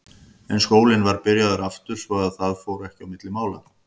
En skólinn var byrjaður aftur svo að það fór ekki á milli mála.